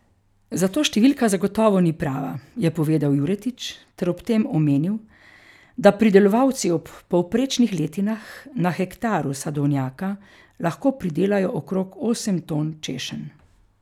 Zato številka zagotovo ni prava, je povedal Juretič ter ob tem omenil, da pridelovalci ob povprečnih letinah na hektaru sadovnjaka lahko pridelajo okrog osem ton češenj.